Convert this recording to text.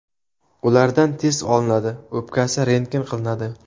Ulardan test olinadi, o‘pkasi rentgen qilinadi.